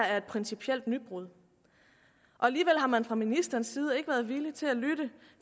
er et principielt nybrud og alligevel har man fra ministerens side ikke været villig til at lytte